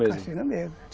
mesmo.